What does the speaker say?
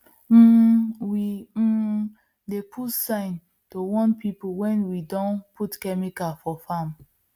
um we um dey put sign to warn people when we don put chemical for farm